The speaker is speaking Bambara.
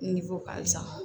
ka sa